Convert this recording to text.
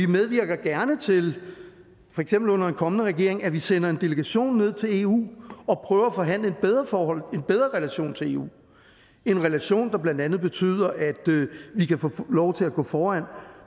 medvirker gerne til for eksempel under en kommende regering at vi sender en delegation ned til eu og prøver at forhandle et bedre forhold en bedre relation til eu en relation der blandt andet betyder at vi kan få lov til at gå foran